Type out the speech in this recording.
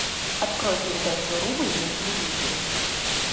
открой передачу рубль на телевизоре